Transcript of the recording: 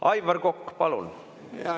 Aivar Kokk, palun!